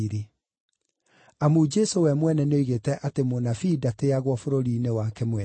(Amu Jesũ we mwene nĩoigĩte atĩ mũnabii ndatĩĩagwo bũrũri-inĩ wake mwene.)